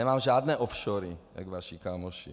Nemám žádné offshory jak vaši kámoši.